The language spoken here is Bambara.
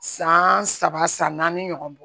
San saba san naani ɲɔgɔn bɔ